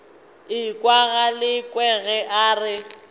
ekwa galekwe ge a re